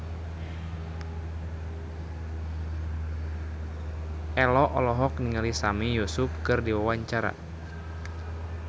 Ello olohok ningali Sami Yusuf keur diwawancara